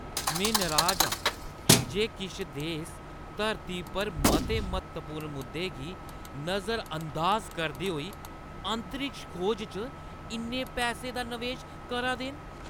में नराज आं जे किश देस धरती पर मते म्हत्तवपूर्ण मुद्दें गी नजरअंदाज करदे होई अंतरिक्ष खोज च इन्ने पैसें दा नवेश करा दे न।